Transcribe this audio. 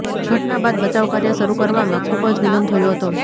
ઘટના બાદ બચાવ કાર્ય શરૂ કરવામાં ખૂબ જ વિલંબ થયો હતો